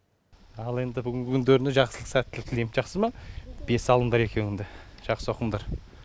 ал енді бүгінгі күндеріне жақсылық сәттілік тілеймін жақсы ма бес алыңдар екеуің де жақсы оқыңдар